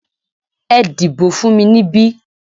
Ẹ dìbò fún mi níbí!